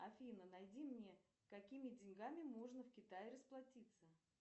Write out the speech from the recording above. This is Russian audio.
афина найди мне какими деньгами можно в китае расплатиться